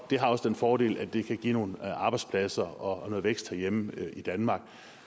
det har også den fordel at det kan give nogle arbejdspladser og noget vækst herhjemme i danmark